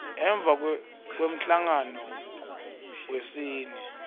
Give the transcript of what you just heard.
emva kwemhlangano wesine